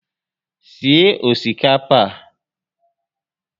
Sie osikapa a